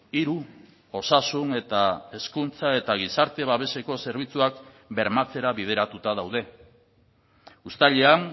hiru osasun eta hezkuntza eta gizarte babeseko zerbitzuak bermatzera bideratuta daude uztailean